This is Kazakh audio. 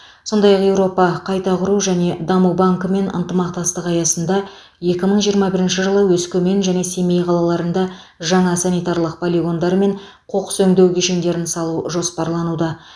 сондай ақ еуропа қайта құру және даму банкімен ынтымақтастық аясында екі мың жиырма бірінші жылы өскемен және семей қалаларында жаңа санитарлық полигондар мен қоқыс өңдеу кешендерін салу жоспарлануда